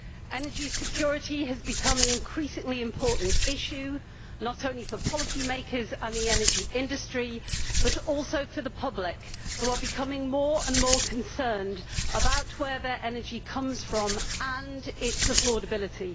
Energy security has become an increasingly important issue, not only for policymakers and the energy industry but also for the public, who are becoming more and more concerned about where their energy comes from and its affordability.